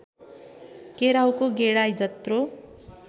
केराउको गेडा जत्रो